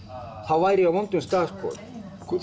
væri ég á vondum stað